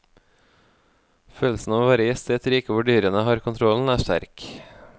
Følelsen av å være gjest i et rike hvor dyrene har kontrollen, er sterk.